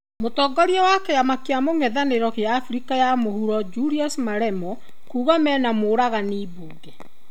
Mũtongoria wa kĩama kĩa mũng'ethanĩro gĩa Afrika ya mũhuro Julius Malemo kuga mena mũragani mbunge.